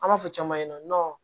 An b'a fɔ caman ɲɛna